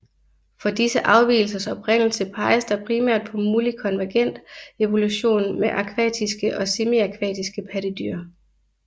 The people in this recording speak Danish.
For disse afvigelsers oprindelse peges der primært på mulig konvergent evolution med akvatiske og semiakvatiske pattedyr